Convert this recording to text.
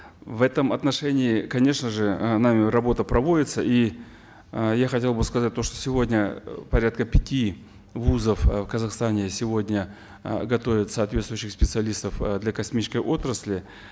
в этом отношении конечно же э нами работа проводится и э я хотел бы сказать то что сегодня порядка пяти вузов э в казахстане сегодня э готовят соответствующих специалистов э для космической отрасли